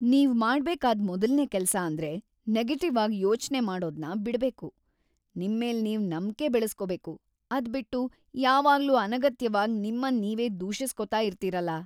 ನೀವ್‌ ಮಾಡ್ಬೇಕಾದ್ ಮೊದಲ್ನೇ ಕೆಲ್ಸ ಅಂದ್ರೆ ನೆಗೆಟಿವ್ ಆಗ್‌ ಯೋಚ್ನೆ ಮಾಡೋದ್ನ ಬಿಡ್ಬೇಕು, ನಿಮ್ಮೇಲ್‌ ನೀವ್‌ ನಂಬ್ಕೆ ಬೆಳುಸ್ಕೋಬೇಕು. ಅದ್ಬಿಟ್ಟು ಯಾವಾಗ್ಲೂ ಅನಗತ್ಯವಾಗ್ ನಿಮ್ಮನ್ ನೀವೇ ದೂಷಿಸ್ಕೊತಾ ಇರ್ತೀರಲ.